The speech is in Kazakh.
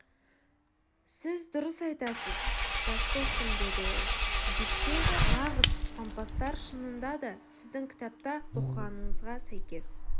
сіз дұрыс айтасыз жас достым деді ол дикке нағыз пампастар шынында да сіздің кітапта оқығаныңызға сәйкес